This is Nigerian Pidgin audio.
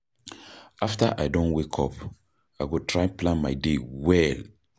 After I don wake up, I go try plan my day well.